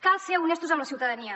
cal ser honestos amb la ciutadania